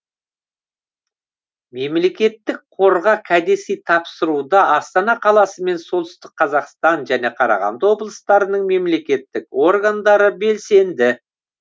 мемлекетітк қорға кәдесый тапсыруда астана қаласы мен солтүстік қазақстан және қарағанды облыстарының мемлекеттік органдары белсенді